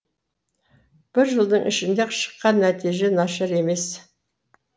бір жылдың ішінде шыққан нәтиже нашар емес